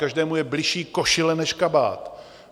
Každému je bližší košile než kabát.